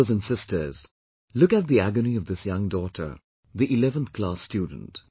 Brothers and sisters, look at the agony of this young daughter, the 11th class student